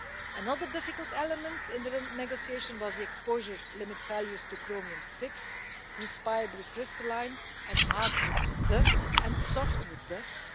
Another difficult element in the negotiation was the exposure limit values to Chromium VI, respirable crystalline and hardwood and softwood dusts.